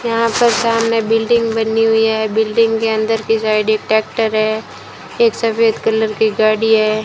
यहां पर सामने बिल्डिंग बनी हुई है बिल्डिंग के अंदर के साइड एक ट्रैक्टर है एक सफेद कलर की गाड़ी है।